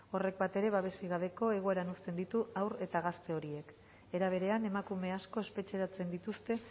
horrek bat ere babesik gabeko egoeran uzten ditu haur eta gazte horiek era berean emakume asko espetxeratzen dituzte